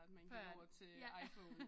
Før at ja